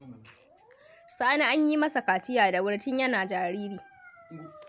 Sani an yi masa kaciya da wuri tun yana jariri.